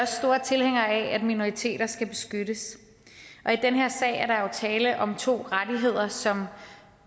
store tilhængere af at minoriteter skal beskyttes og i den her sag er der jo tale om to rettigheder som